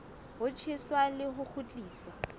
ho tjheswa le ho kgutliswa